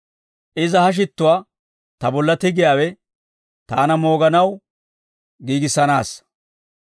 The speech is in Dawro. Iza ha shittuwaa ta bolla tigiyaawe taana mooganaw giigissanaassa.